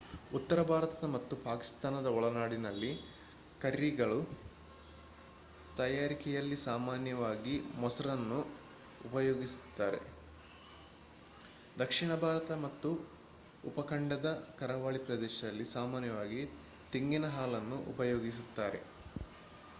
ಉತ್ತರಭಾರತ ಮತ್ತು ಪಾಕಿಸ್ತಾನದ ಒಳನಾಡಿನಲ್ಲಿ ಕರ್ರಿಗಳ ತಯಾರಿಕೆಯಲ್ಲಿ ಸಾಮಾನ್ಯವಾಗಿ ಮೊಸರನ್ನು ಉಪಯೋಗಿಸುತ್ತಾರೆ; ದಕ್ಷಿಣ ಭಾರತ ಮತ್ತು ಉಪಖಂಡದ ಕರಾವಳಿ ಪ್ರದೇಶದಲ್ಲಿ ಸಾಮಾನ್ಯವಾಗಿ ತೆಂಗಿನ ಹಾಲನ್ನು ಉಪಯೋಗಿಸುತ್ತಾರೆ